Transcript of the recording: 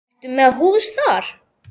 Ertu með hús þar?